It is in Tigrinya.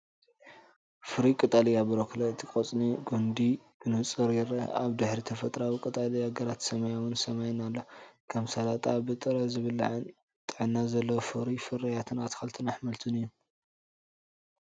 ፍሩይ ቀጠልያ ብሮኮሊ ፣ እቲ ቆጽሊ ምስቲ ጕንዲ ብንጹር ይርአ። ኣብ ድሕሪት ተፈጥሮኣዊ ቀጠልያ ግራትን ሰማያዊ ሰማይን ኣሎ። ከም ሰላጣ ብጥረ ዝብላዕን ጥዕና ዘለዎን ፍሩይን ፍርያት ኣትክልትን ኣሕምልት እዩ፡፡